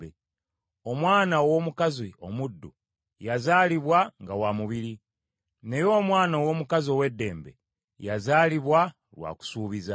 Omwana ow’omukazi omuddu yazaalibwa nga wa mubiri, naye omwana ow’omukazi ow’eddembe yazaalibwa lwa kusuubiza.